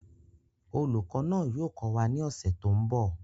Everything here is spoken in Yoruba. Olùkọ́ náà yóò kọ́ wa ní ọ̀sẹ̀ tó ń bọ̀